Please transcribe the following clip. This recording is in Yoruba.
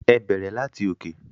Ẹ bẹrẹ lati òkè.